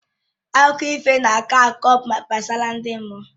Akụkọ ifo na akọ akụkọ gbasara ndị mmụọ